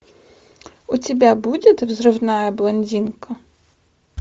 у тебя будет взрывная блондинка